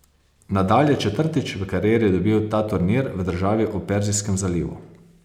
Nadal je četrtič v karieri dobil ta turnir v državi ob Perzijskem zalivu.